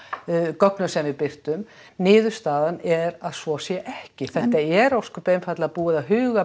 gögnum sem við birtum niðurstaðan er að svo sé ekki það er ósköp einfaldlega búið að huga